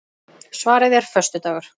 Svarið er föstudagur.